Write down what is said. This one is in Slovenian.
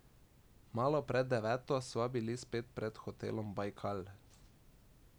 Malo pred deveto sva bili spet pred hotelom Bajkal.